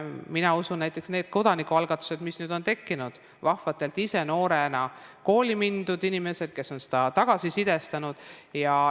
Mina usun näiteks nendesse kodanikualgatustesse, mis on tekkinud vahvate ise noorena kooli läinud inimeste abil, kes on seda tagasisidestanud.